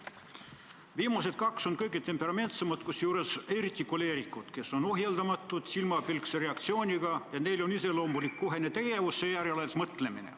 Viimased kaks on kõige temperamentsemad, kusjuures eriti koleerikud, kes on ohjeldamatud, silmapilkse reaktsiooniga ja neile on iseloomulik kohene tegevus, alles seejärel mõtlemine.